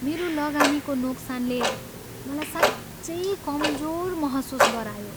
मेरो लगानीको नोक्सानले मलाई साँच्चै कमजोर महसुस गरायो।